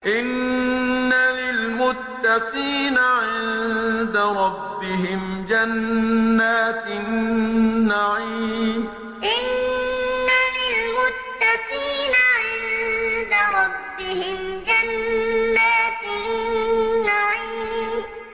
إِنَّ لِلْمُتَّقِينَ عِندَ رَبِّهِمْ جَنَّاتِ النَّعِيمِ إِنَّ لِلْمُتَّقِينَ عِندَ رَبِّهِمْ جَنَّاتِ النَّعِيمِ